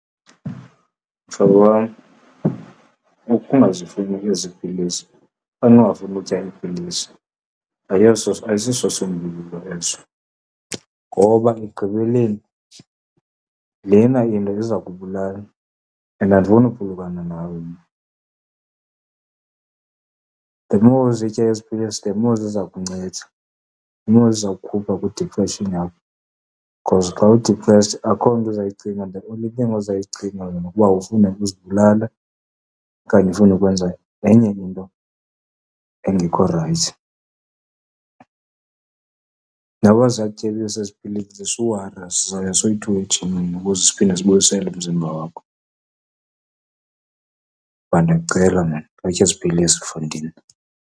Mhlobo wam, ukungazifuni ezi pilisi okanye ungafuni utya iipilisi, ayisosisombululo eso, ngoba ekugqibeleni lena into iza kubulala and andifuni ukuphulukana nawe mna. The more uzitya ezi pilisi, the more ziza kunceda, the more ziza kukhupha kwidiphreshini yakho. Because xa u-depressed akho nto uzayicinga, the only thing ozayicingayo kukuba ufune ukuzibulala okanye ufuna ukwenza enye into engekho rayithi. Noba ziyakutyebisa ezi pilisi suwara, sizawuya soyi-two ejimini ukuze siphinde sibuyisele umzimba wakho. Bra, ndiyakucela maan, khawutye ezi pilisi mfondini.